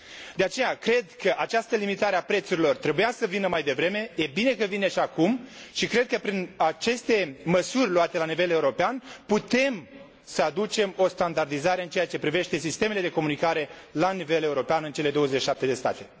De aceea, cred că această limitare a prețurilor trebuia să vină mai devreme, e bine că vine și acum și cred că prin aceste măsuri luate la nivel european, putem să aducem o standardizare în ceea ce privește sistemele de comunicare la nivel european în cele 27 de state.